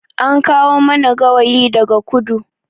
An kawo mana gawayi daga kudu